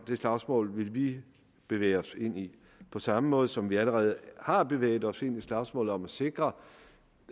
slagsmål vil vi bevæge os ind i på samme måde som vi allerede har bevæget os ind i slagsmålet om at sikre